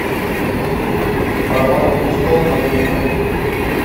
права на престол абдулхамид